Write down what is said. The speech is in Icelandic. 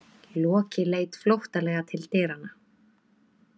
Loki leit flóttalega til dyranna.